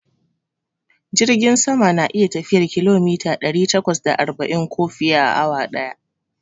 Jirgin sama na iya tafiyar kilomita ɗari takwas da arba'in ko fiye, a awa daya